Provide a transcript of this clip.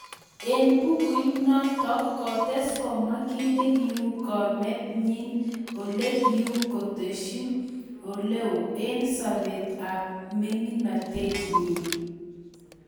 eng bukuit natok ,kotes komwa kinegiu komet nyin ole kiu kitesyin oloeo eng sopet ap ming�inatet nyin